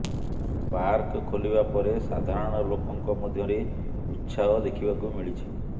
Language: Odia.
ପାର୍କ ଖୋଲିବା ପରେ ସାଧାରଣ ଲୋକଙ୍କ ମଧ୍ୟରେ ଉତ୍ସାହ ଦେଖିବାକୁ ମିଳିଛି